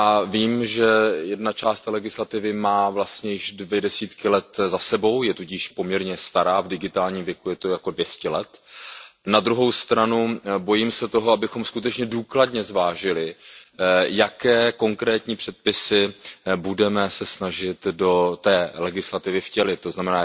Vím, že jedna část té legislativy má vlastně již dvě desítky let za sebou, je tudíž poměrně stará v digitálním věku, je to jako 200 let. Na druhou stranu, bojím se toho, abychom skutečně důkladně zvážili, jaké konkrétní předpisy se budeme snažit do té legislativy vtělit, tzn.